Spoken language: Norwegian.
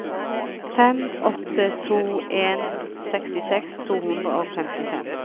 fem åtte to en sekstiseks to hundre og femtifem